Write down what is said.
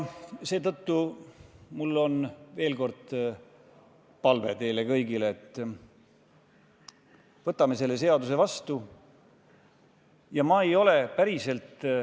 Seetõttu mul on veel kord palve teile kõigile: võtame selle seaduse vastu!